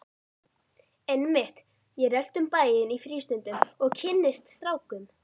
Einmitt, ég rölti um bæinn í frístundum og kynnist strákum!